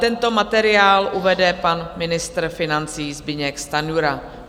Tento materiál uvede pan ministr financí Zbyněk Stanjura.